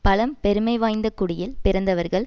பழம் பெருமை வாய்ந்த குடியில் பிறந்தவர்கள்